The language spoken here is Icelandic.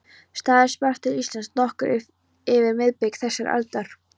Starrinn barst til Íslands nokkru fyrir miðbik þessarar aldar